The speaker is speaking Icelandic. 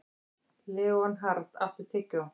Leonhard, áttu tyggjó?